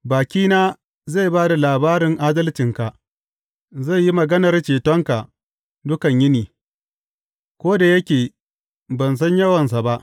Bakina zai ba da labarin adalcinka, zai yi maganar cetonka dukan yini, ko da yake ban san yawansa ba.